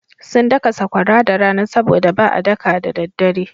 Sun daka sakwara da rana sabo da ba a daka da daddare.